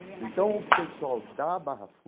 Então o pessoal da Barra